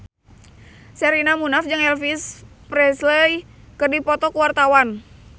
Sherina Munaf jeung Elvis Presley keur dipoto ku wartawan